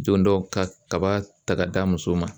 don dɔ ka kaba ta ka d'a muso ma